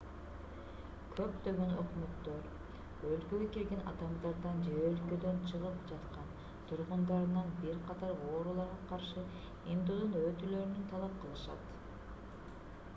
көптөгөн өкмөттөр өлкөгө кирген адамдардан же өлкөдөн чыгып жаткан тургундарынан бир катар ооруларга каршы эмдөөдөн өтүүлөрүн талап кылышат